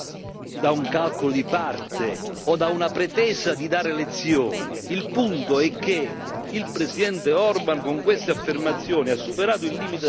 Il punto è che il presidente Orbán con queste affermazioni ha superato il limite della decenza, e la gravità delle sue affermazioni non può essere sottovalutata.